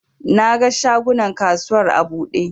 Na ga shagunan kasuwar a buɗe